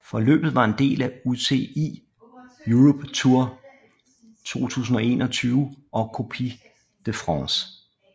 Løbet var en del af UCI Europe Tour 2021 og Coupe de France